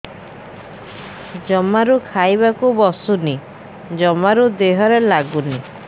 ଜମାରୁ ଖାଇବାକୁ ବସୁନି ଜମାରୁ ଦେହରେ ଲାଗୁନି